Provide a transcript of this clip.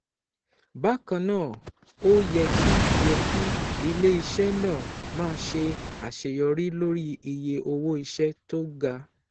Bákan náà, ó yẹ kí yẹ kí ilé-iṣẹ́ náà máa ṣe àṣeyọrí lórí iye owó iṣẹ́ tó ga